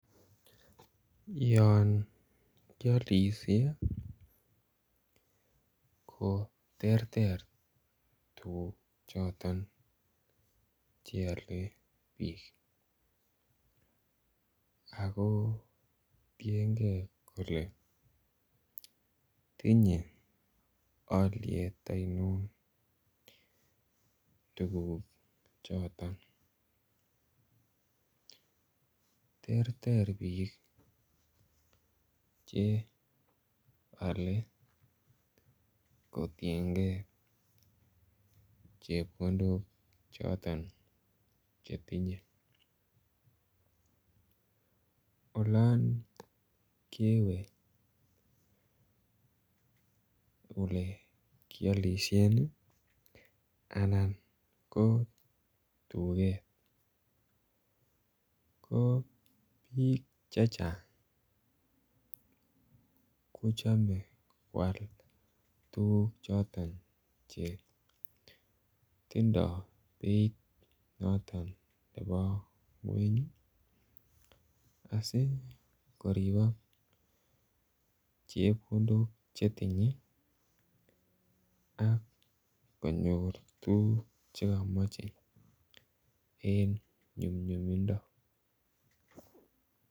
Yon kialishe koterter tuguk choton cheale biik akoo tiengee kole tinye alyet ainon tuguchoton terter biik cheale kotiengee chepkondok choton chetinyee olon kewe olekyolishen ii anan ko duket koo biik chechang kochome kwal tuguk choton chetindoo beit noton nebo kweny ii asikoripok chepkondok chetinyee ak konyor tuguk chekomoche en nyumnyumindoo.